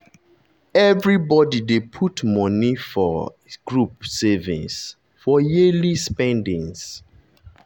everybody dey put money um inside group savings for yearly for yearly spendings.